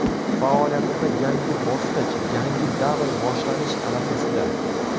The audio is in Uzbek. Faoliyatimda yangi bosqich, yangi davr boshlanish arafasida.